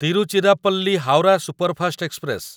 Tiruchirappalli Howrah superfast express